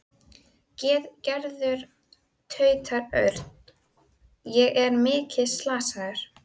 Gerður tautaði Örn. Er ég mikið slasaður?